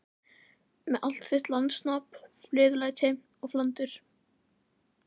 Með allt þitt listasnobb, fleðulæti og flandur.